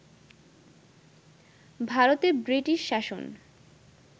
ভারতে ব্রিটিশ শাসন